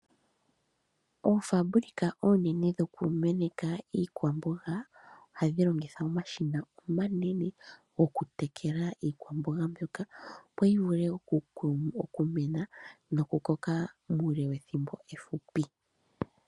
Oofambulika oonene dhoku meneka iikwamboga ohadhi longitha omashina omanene okutekela iikwamboga mbyoka opo yi vule okumena, nokukoka muule wethimbo efupi.